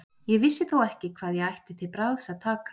Ég vissi þó ekki hvað ég ætti til bragðs að taka.